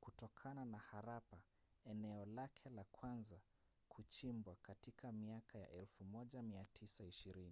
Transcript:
kutokana na harappa eneo lake la kwanza kuchimbwa katika miaka ya 1920